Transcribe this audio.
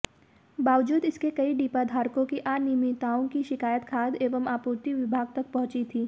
बावजूद इसके कई डिपाधारकों की अनियमितताओं की शिकायत खाद्य एवं आपूर्ति विभाग तक पहुंची थी